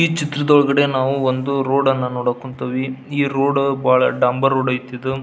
ಚಿತ್ರದೊಳಗಡೆ ನಾವು ಒಂದು ರೋಡ್ ಅನ್ನ ನೋಡಕ್ ಕುಂತೀವಿ ಈ ರೋಡ್ ಒಂದು ಡಾಂಬರ್ ರೋಡ್ ಐತಿದು.